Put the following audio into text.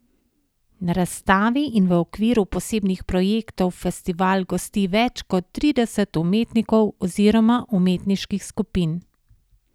Na razstavi in v okviru posebnih projektov festival gosti več kot trideset umetnikov oziroma umetniških skupin.